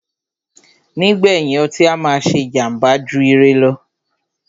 Nígbèyìn, ọtí á máà ṣé jàmbá jù ire lọ.